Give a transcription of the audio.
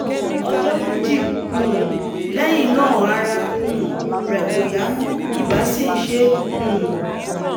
ọjọ́ méjì um lẹ́yìn náà ara um rẹ̀ kò yá mọ́ ibà sì ń ṣe é um